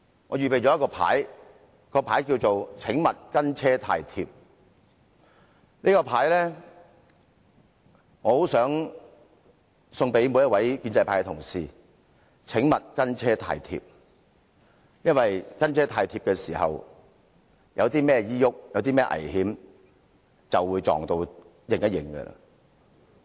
我想把這個牌送給所有建制派議員，提醒他們"請勿跟車太貼"，如果因為"跟車太貼"而遇上任何意外或危險，後果將會非常嚴重。